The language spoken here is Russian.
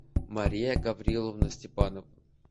мария гавриловна степанова